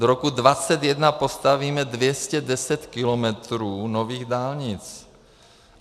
Do roku 2021 postavíme 210 kilometrů nových dálnic.